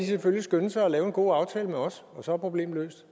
selvfølgelig skynde sig at lave en god aftale med os og så er problemet